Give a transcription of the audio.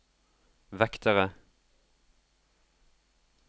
vektere